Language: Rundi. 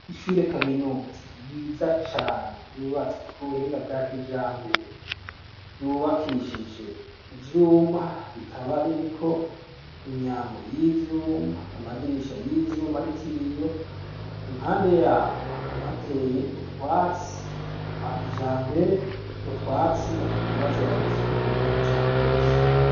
Ishure kaminuza ryiza cane ryubatswe ku buhinga bwa kijambere, ryubakishije ivyuma, rikaba ririko imyango y'ivyuma, amadirisha y'ivyuma ariko ibiyo, impande y'aho hakaba hateye utwatsi twa kijambere, utwo twatsi bakaguma baza baradusukura cane gose.